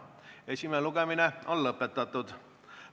Esimene lugemine on lõpetatud.